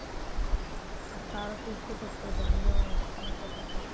তারো তো ইচ্ছা করতো আমিও মেয়ের সাথে থাকি।